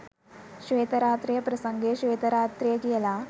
ශ්වේත රාත්‍රිය ප්‍රසංගය ශ්වේත රාත්‍රිය කියලා